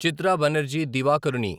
Chitra Banerjee Divakaruni